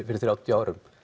fyrir þrjátíu árum